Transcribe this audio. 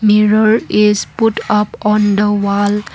mirror is put up on the wall.